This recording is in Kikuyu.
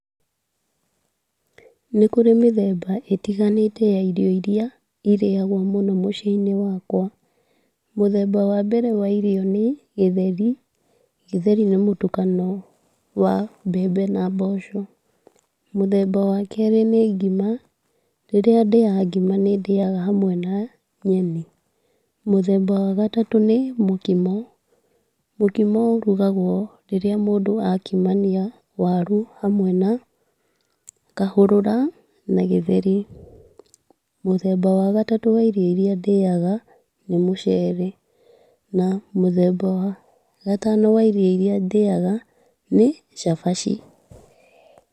Nĩkũrĩ mĩthemba ĩtiganĩte ya irio iria irĩagwo mũno mũciĩ-inĩ wakwa, mũthemba wa mbere wa irio nĩ gĩtheri, gĩtheri nĩ mũtukano wa mbembe na mboco, mũthemba wa kerĩ ni ngima, rĩrĩa ndĩaga ngima nĩ ndĩaga na nyeni, mũthemba wa gatatũ nĩ mũkimo, mũkimo ũrugagwo rĩrĩa mũndũ makimania waru hamwe na kahũrũra na gĩtheri, mũthemba wa gatatũ wa irio iria ndĩaga nĩ mũcere, na mũthemba wa gatano wa irio iria ndĩaga nĩ cabaci.